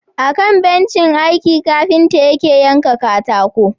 Akan bencin aiki kafinta yake yanka katako.